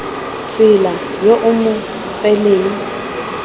tsela yo o mo tseleng